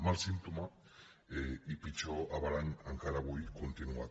mal símptoma i pitjor averany encara avui continuat